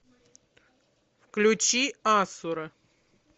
включи асура